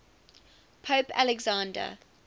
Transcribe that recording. pope alexander